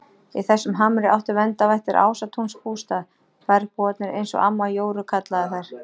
Í þessum hamri áttu verndarvættir Ásatúns bústað, bergbúarnir eins og amma Jóru kallaði þær.